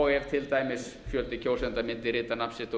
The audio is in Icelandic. og ef til dæmis fjöldi kjósenda mundi rita nafn sitt á